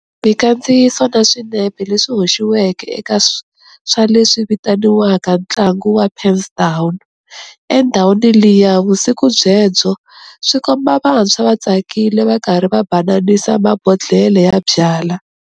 Mikandziyiso na swinepe leswi hoxiweke eka swa leswi vitaniwaka tlangu wa 'pens down'endhawini liya vusiku byebyo swi komba vantshwa va tsakile va karhi va bananisa mabondhlele ya byala.